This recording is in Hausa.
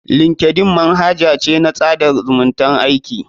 Linkeldn manhaja ce na tsada zumuntan aiki.